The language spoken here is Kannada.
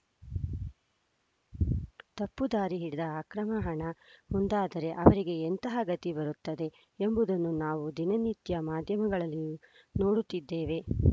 ತಪ್ಪು ದಾರಿ ಹಿಡಿದ ಅಕ್ರಮ ಹಣ ಮುಂದಾದರೆ ಅವರಿಗೆ ಎಂತಹ ಗತಿ ಬರುತ್ತದೆ ಎಂಬುದನ್ನು ನಾವು ದಿನನಿತ್ಯ ಮಾಧ್ಯಮಗಳಲ್ಲೂ ನೋಡುತ್ತಿದ್ದೇವೆ